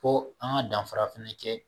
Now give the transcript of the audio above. Fo an ga danfara fɛnɛ kɛ